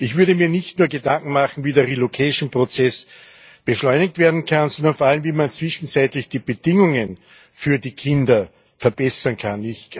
Ich würde mir nicht nur Gedanken machen, wie der Umsiedlungsprozess beschleunigt werden kann, sondern vor allem, wie man zwischenzeitlich die Bedingungen für die Kinder verbessern kann.